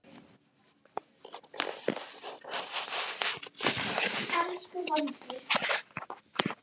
Elsku Valdís.